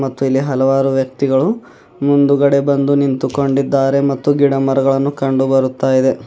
ಮತ್ತೆ ಇಲ್ಲಿ ಹಲವಾರು ವ್ಯಕ್ತಿಗಳು ಮುಂದುಗಡೆ ಬಂದು ನಿಂತು ಕೊಂಡಿದ್ದಾರೆ ಮತ್ತು ಗಿಡ ಮರಗಳನ್ನು ಕಂಡುಬರುತ್ತಾ ಇದೆ.